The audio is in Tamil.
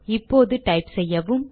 இப்போது டைப் செய்யவும்